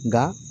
Nka